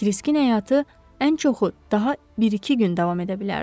Kiriskin həyatı ən çoxu daha bir-iki gün davam edə bilərdi.